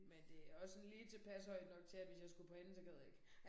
Men det også sådan lige tilpas højt nok til at hvis jeg skulle på anden så gad jeg ikke